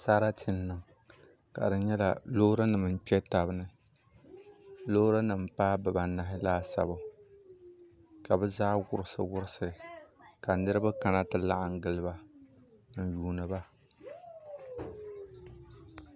Sarati n niŋ ka di nyɛla loori nim n kpɛ tabi ni loori nim paai bibanahi laasabu ka bi zaa wurisi wurisi ka niraba kana ti laɣam giliba n yuundiba